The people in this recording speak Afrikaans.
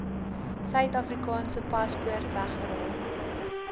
suidafrikaanse paspoort weggeraak